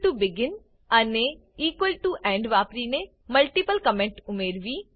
begin અને end વાપરીને multiple comment ઉમેરવી